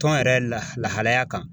Tɔn yɛrɛ la lahalaya kan